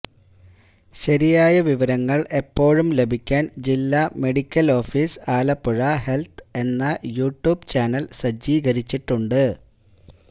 ശരിയായ വിവരങ്ങൾ എപ്പോഴും ലഭിക്കാൻ ജില്ല മെഡിക്കൽ ആഫീസ് ആലപ്പുഴ ഹെൽത്ത് എന്ന യുട്യൂബ് ചാനൽ സജ്ജീകരിച്ചിട്ടുണ്ട്